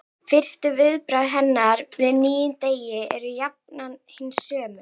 Fyrstu viðbrögð hennar við nýjum degi eru jafnan hin sömu.